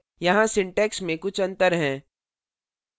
यहाँ syntax में कुछ अंतर हैं